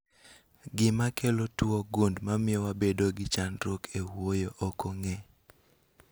Gima kelo tuo gund mamio wabedo gi chandruok e wuoyo ok ong'e